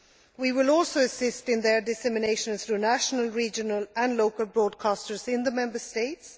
We will also assist in their dissemination through national, regional and local broadcasters in the Member States.